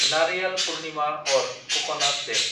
नारियाल पुर्निमा अर ककनाट दे